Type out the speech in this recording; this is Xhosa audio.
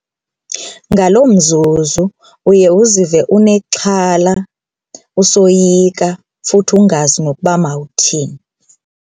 Ngaloo mzuzu uye uzive unexhala usoyika futhi ungazi nokuba mawuthini.